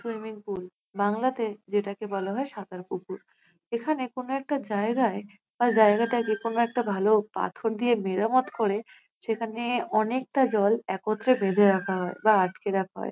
Swimming pool বাংলাতে যেটাকে বলা হয় সাঁতার পুকুর। এখানে কোনো একটা জায়গায় বা জায়গাটাকে কোনো একটা ভালো পাথর দিয়ে মেরামত করে সেখানে অনেকটা জল একত্রে বেঁধে রাখা হয় বা আটকে রাখা হয় ।